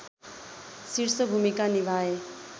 शीर्ष भूमिका निभाए